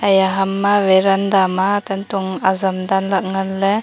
eya hamma varanda ma tantong ajam danlah ngan le.